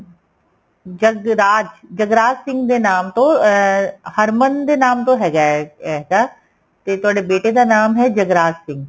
ਜਗਰਾਜ ਜਗਰਾਜ ਸਿੰਘ ਦੇ ਨਾਮ ਤੋਂ ਅਹ ਹਰਮਨ ਦੇ ਨਾਮ ਤੋਂ ਹੈਗਾ ਏ ਇਹਦਾ ਤੇ ਤੁਹਾਡੇ ਬੇਟੇ ਦਾ ਨਾਮ ਏ ਜਗਰਾਜ ਸਿੰਘ